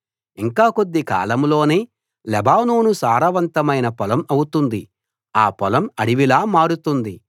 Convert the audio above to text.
ఇంకా కొద్ది కాలంలోనే లెబానోను సారవంతమైన పొలం అవుతుంది ఆ పొలం అడవిలా మారుతుంది